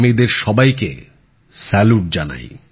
আমি এদের সবাইকে স্যালুট জানাই